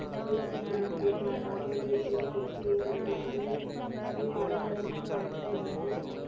தேசிங்கிடம் கேட்டார். ராஜாஜி தேசிங் குருஜியை, தனது ராணியையும் அரண்மனைக்கு அழைத்து வந்து,